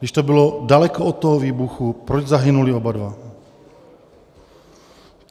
Když to bylo daleko od toho výbuchu, proč zahynuli oba dva?